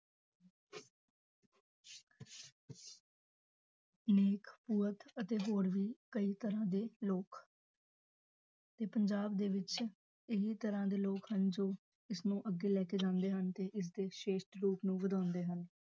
ਨੇਕ ਅਤੇ ਹੋਰ ਵੀ ਕਈ ਤਰ੍ਹਾਂ ਦੇ ਲੋਕ ਤੇ ਪੰਜਾਬ ਦੇ ਵਿੱਚ ਇੰਨੀ ਤਰ੍ਹਾਂ ਦੇ ਲੋਕ ਹਨ ਜੋ ਇਸਨੂੰ ਅੱਗੇ ਲੈ ਕੇ ਜਾਂਦੇ ਹਨ ਤੇ ਇਸਦੇ ਸ੍ਰੇਸ਼ਟ ਰੂਪ ਨੂੰ ਵਧਾਉਂਦੇ ਹਨ।